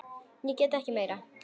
Ég get ekki meira.